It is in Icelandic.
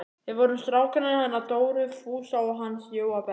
Við vorum strákarnir hennar Dóru Fúsa og hans Jóa Berg.